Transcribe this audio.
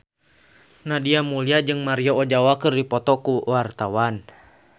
Nadia Mulya jeung Maria Ozawa keur dipoto ku wartawan